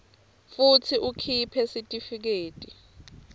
futsi ukhiphe sitifiketi